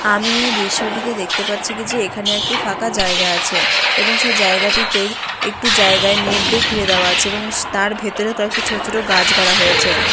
আমি এ দৃশ্যটিতে দেখতে পাচ্ছি কি যে এখানে একটি ফাঁকা জায়গা আছে এবং সে জায়গাটিতে একটু জায়গায় নেট দিয়ে ঘিরে দেওয়া আছে এবং তার ভেতরেও কয়েকটি ছোট ছোট গাছ গাড়া হয়েছে।